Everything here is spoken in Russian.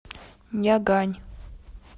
нягань